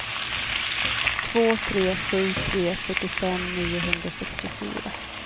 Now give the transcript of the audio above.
två tre sju tre fyrtiofem niohundrasextiofyra